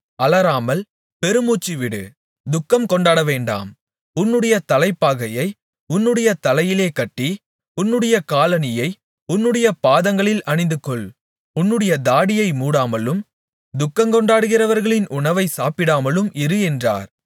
அலறாமல் பெருமூச்சு விடு துக்கம் கொண்டாடவேண்டாம் உன்னுடைய தலைப்பாகையை உன்னுடைய தலையிலே கட்டி உன்னுடைய காலணியை உன்னுடைய பாதங்களில் அணிந்துகொள் உன்னுடைய தாடியை மூடாமலும் துக்கங்கொண்டாடுகிறவர்களின் உணவை சாப்பிடாமலும் இரு என்றார்